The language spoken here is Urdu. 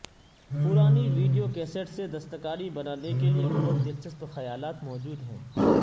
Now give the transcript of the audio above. پرانی ویڈیو کیسےٹ سے دستکاری بنانے کے لئے بہت دلچسپ خیالات موجود ہیں